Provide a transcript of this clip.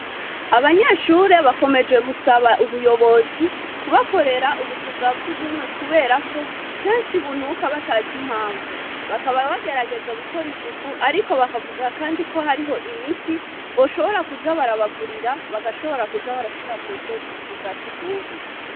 Abanyeshure bakomeje gusaba ubuyobozi kubakorera ubuzu bwa sugumwe kuberako kenshi bunuka batazi impamvu, bakaba bagerageza gukora isuku ariko bakavuga kandi ko hariho imiti boshobora kuza barabagurira bagashobora kuza barashira mw'ubwo buzu bwa sugumwe.